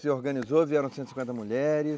Se organizou, vieram cento e cinquenta mulheres.